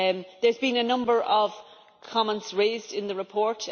There have been a number of comments raised in the report.